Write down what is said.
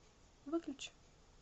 выключи